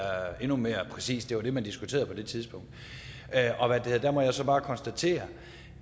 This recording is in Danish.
endnu mere præcis det var det man diskuterede på det tidspunkt der må jeg så bare konstatere